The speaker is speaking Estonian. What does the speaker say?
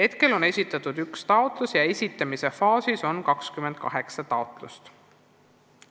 Seni on esitatud üks taotlus, esitamisel on 28 taotlust.